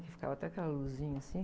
Que ficava até aquela luzinha assim.